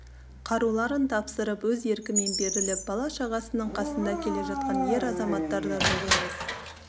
қаруларын тапсырып өз еркімен беріліп бала-шағасының қасында келе жатқан ер-азаматтар да жоқ емес